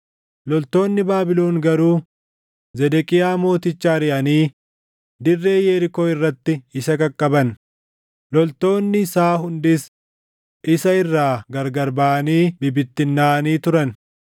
loltoonni Baabilon garuu Zedeqiyaa Mooticha ariʼanii dirree Yerikoo irratti isa qaqqaban; loltoonni isaa hundis isa irraa gargar baʼanii bibittinnaaʼanii turan;